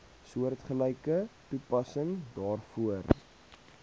soortgelyke toepassing daarvoor